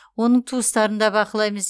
оның туыстарын да бақылаймыз